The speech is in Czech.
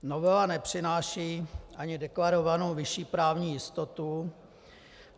Novela nepřináší ani deklarovanou vyšší právní jistotu.